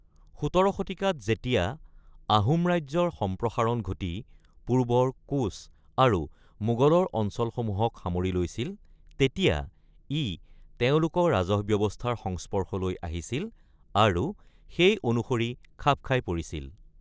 ১৭ শতিকাত যেতিয়া আহোম ৰাজ্যৰ সম্প্ৰসাৰণ ঘটি পূৰ্বৰ কোচ আৰু মোগলৰ অঞ্চলসমূহক সামৰি লৈছিল, তেতিয়া ই তেওঁলোকৰ ৰাজহ ব্যৱস্থাৰ সংস্পৰ্শলৈ আহিছিল আৰু সেই অনুসৰি খাপ খাই পৰিছিল।